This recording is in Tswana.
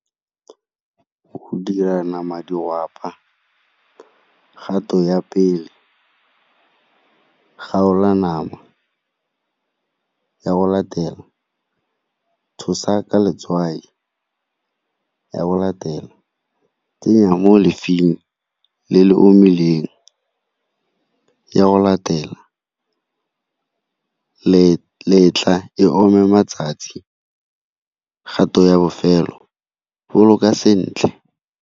Go dira nama di , kgato ya pele, kgaola nama, ya go latela tshosa ka letswai, ya go latela tsenya mo le le omileng, ya go latela letla e ome matsatsi, kgato ya bofelo boloka sentle.